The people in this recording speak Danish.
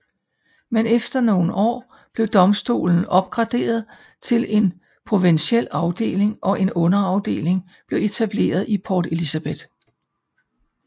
Men efter nogle år blev domstolen opgraderet til en provinsiel afdeling og en underafdeling blev etableret i Port Elizabeth